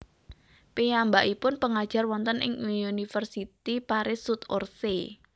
Piyambakipun pangajar wonten ing Université Paris Sud Orsay